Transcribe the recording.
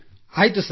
ಆಯ್ತು ಸರ್